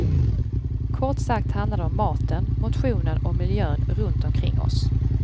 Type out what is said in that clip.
Kort sagt handlar det om maten, motionen och miljön runt omkring oss.